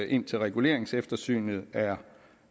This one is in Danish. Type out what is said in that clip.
indtil reguleringseftersynet er